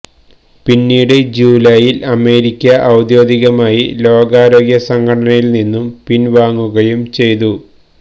പിന്നീട് ജൂലൈയിൽ അമേരിക്ക ഔദ്യോഗികമായി ലോകാരോഗ്യ സംഘടനയിൽ നിന്ന് പിൻവാങ്ങുകയും ചെയ്തു